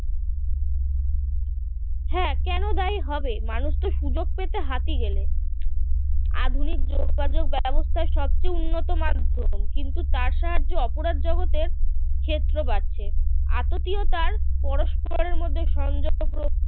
হ্যাঁ কেন দায়ী হবে মানুষ তো সুযোগ পেতে হাতি গেলে আধুনিক যোগাযোগ ব্যবস্থার সবচেয়ে উন্নত মাধ্যম কিন্তু তার সাহায্যে অপরাধ জগতের ক্ষেত্র বাড়ছে আততীয়তার পরস্পরের মধ্যে সংযোগ রক্ষা